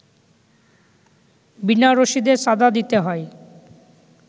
বিনা রশিদে চাঁদা দিতে হয়